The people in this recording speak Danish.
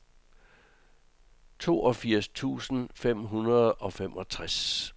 toogfirs tusind fem hundrede og femogtres